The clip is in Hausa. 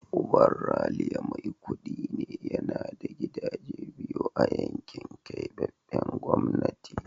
Uban Ralia mai kudi ne, yana da gidaje biyu a yankin keɓaɓɓen gwamnati.